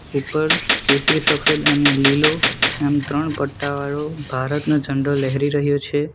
ઉપર કેસરી સફેદ અને લીલો એમ ત્રણ પટાવાળો ભારતનો ઝંડો લહેરી રહ્યો છે.